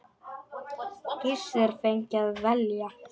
Gissur fengi að velja.